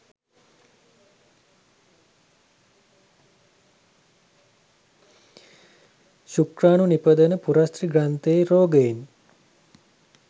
ශුක්‍රාණු නිපදවන පුරස්ථි ග්‍රන්ථියේ රෝගයෙන්